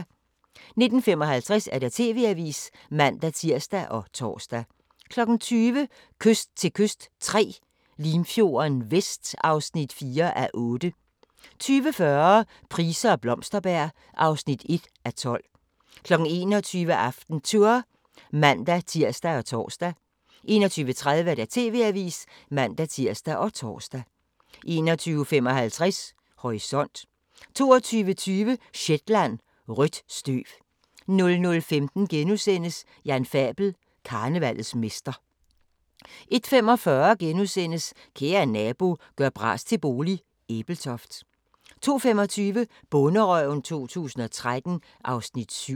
19:55: TV-avisen (man-tir og tor) 20:00: Kyst til kyst III – Limfjorden Vest (4:8) 20:40: Price og Blomsterberg (1:12) 21:00: AftenTour (man-tir og tor) 21:30: TV-avisen (man-tir og tor) 21:55: Horisont 22:20: Shetland: Rødt støv 00:15: Jan Fabel: Karnevallets mester * 01:45: Kære nabo – gør bras til bolig – Ebeltoft * 02:25: Bonderøven 2013 (Afs. 7)